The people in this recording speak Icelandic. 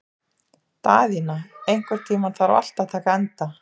Daðína, einhvern tímann þarf allt að taka enda.